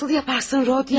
Bunu necə edərsən, Rodiya?